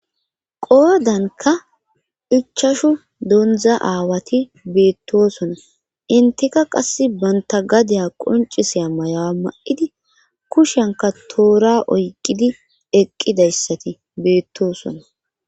Qoodanka ichashu dondza aawati beettoosona inteka qass banta gadiya qonciseya mayawa ma'idi kushenka toora oyqidi eqqidayssati beettoosona.